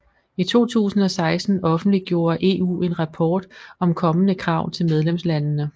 I 2016 offentliggjorde EU en rapport om kommende krav til medlemslandene